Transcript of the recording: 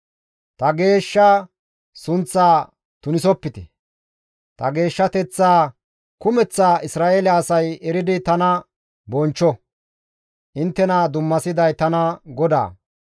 Ta geeshsha sunththaa tunisopite; ta geeshshateththaa kumeththa Isra7eele asay eridi tana bonchcho; inttena dummasiday tana GODAA.